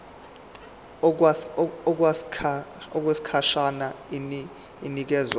okwesikhashana inikezwa abantu